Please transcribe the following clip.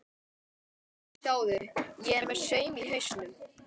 Sjáðu, ég er með saum í hausnum.